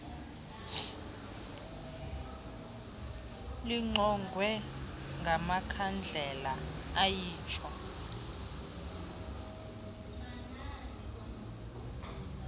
lingqongwe ngamakhandlela ayitsho